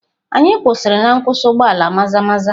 Anyị kwụsịrị na nkwụsị ụgbọ ala Maza-maza.